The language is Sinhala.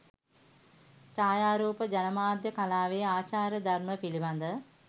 ජායාරූප ජනමාධ්‍ය කලාවේ ආචාර ධර්ම පිළිබඳ